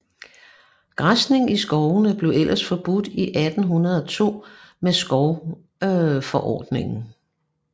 Græsning i skovene blev ellers forbudt i 1802 med skovforordningen